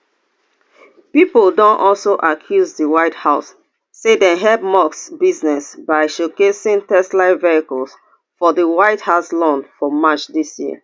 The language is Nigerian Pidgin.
pipo don also accuse di white house say dem help musk businesses by showcasing tesla vehicles for di white house lawn for march dis year